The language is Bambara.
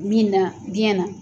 Min na biɲɛnna